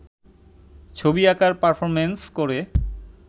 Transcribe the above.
ছবি আাঁকার পারফর্মেন্স করে